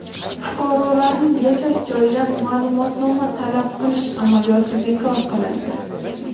Fuqarolarning yashash joyidan ma’lumotnoma talab qilish amaliyoti bekor qilindi.